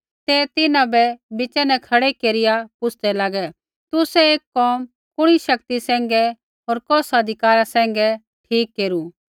ते तिन्हां बै बिच़ा न खड़ै केरिआ पुछ़दै लागै तुसै ऐ कोम कुणी शक्ति सैंघै होर कौस अधिकारा सैंघै ठीक केरू